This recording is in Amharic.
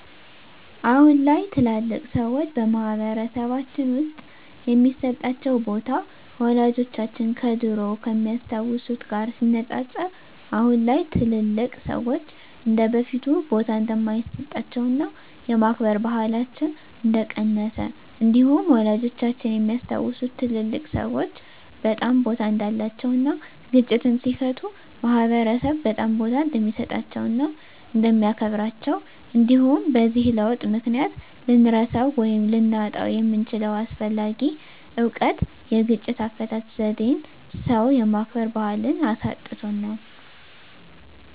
አሁን ላይ ታላላቅ ሰዎች በማህበረሰልባችን ውስጥ የሚሰጣቸው ቦታ ወላጆቻችን ከድሮው ከሚያስታውት ጋር ሲነፃፀር አሁን ላይ ትልልቅ ሰዎች እንደበፊቱ ቦታ እንደማይሰጣቸውና የማክበር ባህላችን እንደቀነሰ እንዲሁም ወላጆቻችን የሚያስታውሱት ትልልቅ ሰዎች በጣም ቦታ እንዳላቸው እና ግጭትን ሲፈቱ ማህበረሰብ በጣም ቦታ እንደሚሰጣቸው እና እንደሚያከብራቸው እንዲሁም በዚህ ለውጥ ምክንያት ልንረሳው ወይም ልናጣው የምንችለው አስፈላጊ እውቀት የግጭት አፈታት ዜዴን ሰው የማክበር ባህልን አሳጥቶናል።